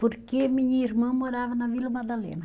Porque minha irmã morava na Vila Madalena.